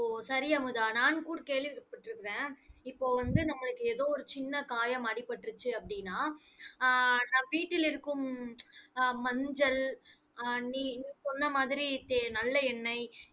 ஓ சரி அமுதா. நான் கூட கேள்விப்பட்டிருக்கிறேன். இப்ப வந்து நம்மளுக்கு ஏதோ ஒரு சின்ன காயம் அடிபட்டுருச்சு அப்படின்னா ஆஹ் நான் வீட்டில் இருக்கும் ஆஹ் மஞ்சள் ஆஹ் நீ நீ சொன்ன மாதிரி தே~ நல்ல எண்ணெய்